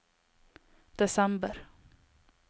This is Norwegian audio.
desember